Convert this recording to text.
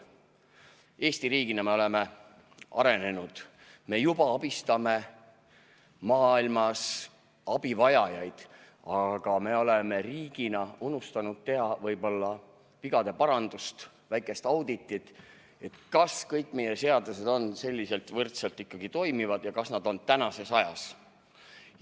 Eesti riigina me oleme arenenud, me juba abistame maailmas abivajajaid, aga me oleme riigina unustanud teha vigade paranduse, väikese auditi, kas kõik meie seadused ikkagi toimivad ja kas nad on tänases ajas.